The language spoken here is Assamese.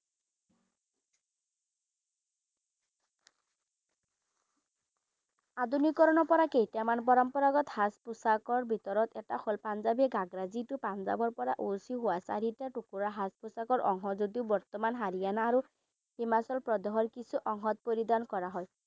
আধুনিকৰণৰ পৰা কেইটামান পৰম্পৰাগত সাজ পোছাকৰ ভিতৰত এটা হল পাঞ্জাবী ঘাগড়া যিটো পাঞ্জাবৰ পৰা ওসি হুৱা চাৰিটা টুকুৰা সাজ পোছাকৰ অংশ যদিও বৰ্তমান হৰিয়ানা আৰু হিমাচল প্ৰদেশৰ কিছু অংশত পৰিধান কৰা হয়।